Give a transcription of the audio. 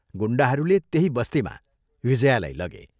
गुण्डाहरूले त्यही बस्तीमा विजयालाई लगे।